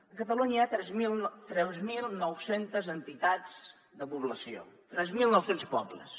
a catalunya hi ha tres mil nou cents entitats de població tres mil nou cents pobles